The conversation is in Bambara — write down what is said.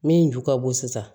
Min ju ka bon sisan